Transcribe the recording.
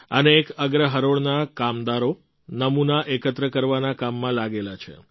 અનેક અગ્ર હરોળના કામદારો નમૂના એકત્ર કરવાના કામમાં લાગેલા છે